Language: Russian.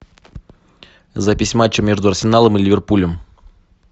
запись матча между арсеналом и ливерпулем